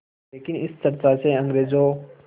लेकिन इस चर्चा से अंग्रेज़ों